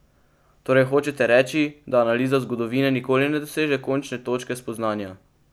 Torej hočete reči, da analiza zgodovine nikoli ne doseže končne točke spoznanja?